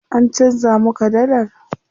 An canza muka dallar?